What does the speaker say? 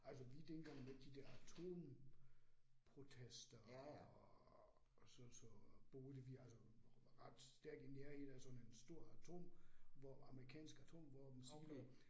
Altså vi tænker jo med de der atomprotester og så så boede vi altså ret stærkt i nærheden i sådan en stor atom, hvor amerikanske atomvåben siloer